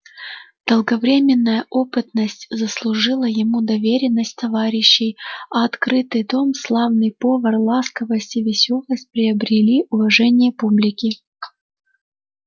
долговременная опытность заслужила ему доверенность товарищей а открытый дом славный повар ласковость и весёлость приобрели уважение публики